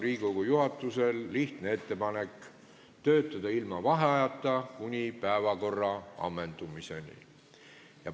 Riigikogu juhatusel on lihtne ettepanek: töötada ilma vaheajata kuni päevakorra ammendumiseni.